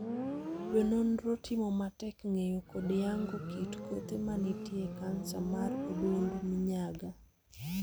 Jo nonro timo matek ng'eyo kod yango kit kothe mantie e kansa mar odundu minyaga.